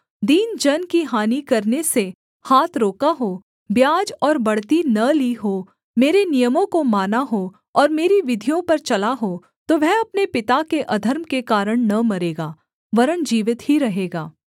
दीन जन की हानि करने से हाथ रोका हो ब्याज और बढ़ती न ली हो मेरे नियमों को माना हो और मेरी विधियों पर चला हो तो वह अपने पिता के अधर्म के कारण न मरेगा वरन् जीवित ही रहेगा